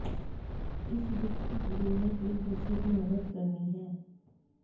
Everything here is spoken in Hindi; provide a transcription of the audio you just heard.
इस दुख की घड़ी में एक दूसरे की मदद करनी है